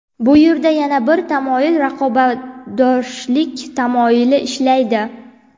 Bu yerda yana bir tamoyil raqobatbardoshlik tamoyili ishlaydi.